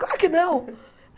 Claro que não!